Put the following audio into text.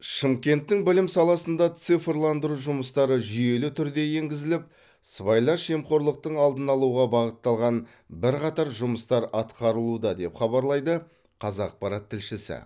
шымкенттің білім саласында цифрландыру жұмыстары жүйелі түрде енгізіліп сыбайлас жемқорылықтың алдын алуға бағытталған бірқатар жұмыстар атқарылуда деп хабарлайды қазақпарат тілшісі